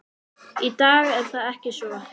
Í dag er það ekki svo.